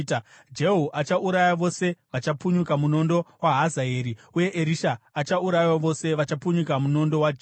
Jehu achauraya vose vachapunyuka munondo waHazaeri, uye Erisha achaurayawo vose vachapunyuka munondo waJehu.